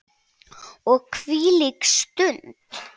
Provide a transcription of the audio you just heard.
Og hvílík stund!